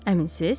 Əminsiz?